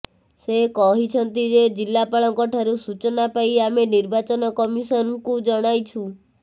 ସେ କହିଛନ୍ତି ଯେ ଜିଲ୍ଲାପାଳଙ୍କଠାରୁ ସୂଚନା ପାଇ ଆମେ ନିର୍ବାଚନ କମିଶନଙ୍କୁ ଜଣାଇଛୁ